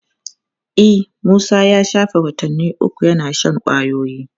E, Musa ya shafe watanni uku yana shan kwayoyi.